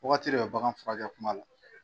Wagati de bɛ bagan furakɛ kuma la.